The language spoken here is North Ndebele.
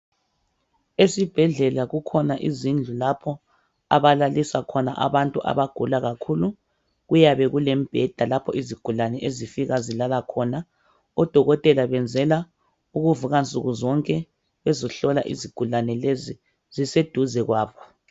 Esibhedlela kukhona izindlu lapho abalalisa khona abantu abagula kakhulu. Kuyabe kulembheda lapho izigulani ezifika zilala khona. Odokotela benzela ukuvuka nsuku zonke bezohlola izigulane lezi ziseduze kwabo.